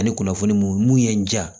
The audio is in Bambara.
Ani kunnafoni mun ye n ja